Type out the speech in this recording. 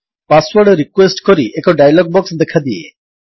password request କରି ଏକ dialog box ଦେଖାଦିଏ